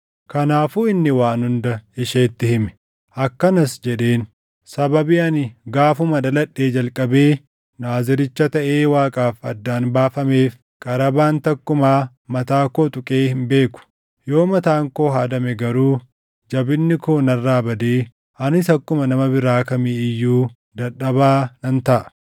Kanaafuu inni waan hunda isheetti hime. Akkanas jedheen; “Sababii ani gaafuma dhaladhee jalqabee Naaziricha taʼee Waaqaaf addaan baafameef qarabaan takkumaa mataa koo tuqee hin beeku. Yoo mataan koo haadame garuu jabinni koo narraa badee anis akkuma nama biraa kamii iyyuu dadhabaa nan taʼa.”